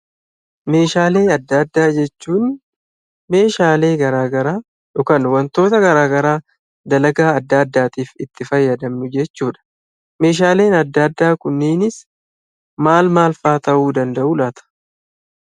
Meeshaalee adda addaa jechuun meeshaalee garagaraa yookiin wantoota garagaraa dalagaa garagaraaf itti fayyadamnu jechuudha. Meeshaaleen adda addaa Kunis maal faa ta'uu danda'u laata?